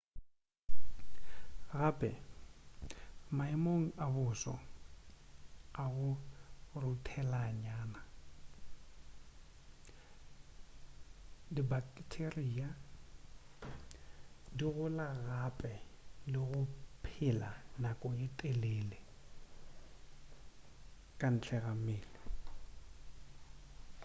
gape maemong a boso a go ruthelanyana dibaketeria di gola gape le go phela nako ye telele ka ntla ga mmele